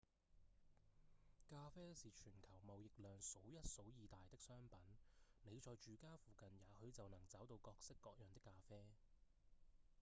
咖啡是全球貿易量數一數二大的商品你在住家附近也許就能找到各式各樣的咖啡